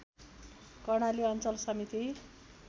कर्णाली अञ्चल समिति